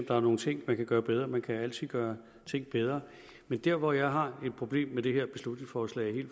der er nogle ting man kan gøre bedre man kan altid gøre ting bedre men dér hvor jeg helt fundamentalt har et problem med det her beslutningsforslag